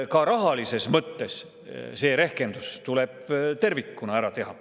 Ka rahalises mõttes see rehkendus tuleb tervikuna ära teha.